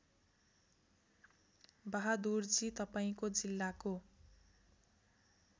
बहादुरजी तपाईँको जिल्लाको